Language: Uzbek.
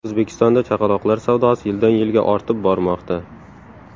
O‘zbekistonda chaqaloqlar savdosi yildan yilga ortib bormoqda.